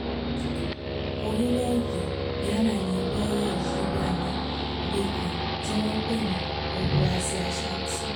orílẹ̀-èdè ghana ni wẹ́rẹ́ yìí wà níbì kan tí wọ́n ń pè ní obúàsì ashanti